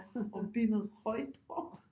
Og benet højt op